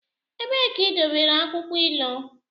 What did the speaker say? Ebee ka idobere akwukwo ilu?